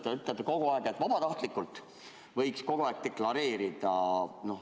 Te ütlete, et vabatahtlikult võiks kogu aeg deklareerida.